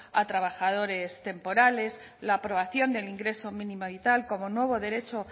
a trabajadores temporales la aprobación del ingreso mínimo vital como nuevo derecho